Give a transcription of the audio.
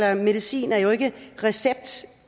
her medicin jo ikke